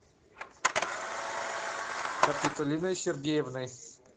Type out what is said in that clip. капитолиной сергеевной